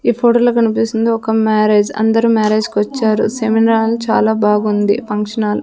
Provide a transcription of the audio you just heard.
ఈ ఫోటో లో కనిపిస్తుంది ఒక మ్యారేజ్ అందరూ మ్యారేజ్ కి వచ్చారు సెమినాల్ చాలా బాగుంది ఫంక్షన్ హాల్ .